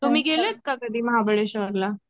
तुम्ही गेल्यात का कधी महाबळेश्वर ला